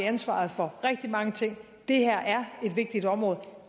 ansvaret for rigtig mange ting det her er et vigtigt område